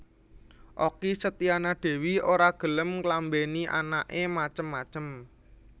Okky Setiana Dewi ora gelem nglambeni anak e macem macem